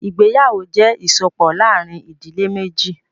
Ìgbéyàwó jẹ́ ìsopọ̀ láàrin ìdílé méjì.